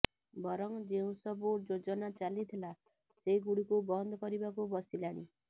ବରଂ ଯେଉଁ ସବୁ ଯୋଜନା ଚାଲିଥିଲା ସେଗୁଡ଼ିକୁ ବନ୍ଦ କରିବାକୁ ବସିଲାଣି